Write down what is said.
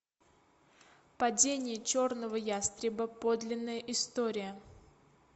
падение черного ястреба подлинная история